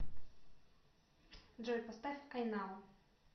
джой поставь ай нау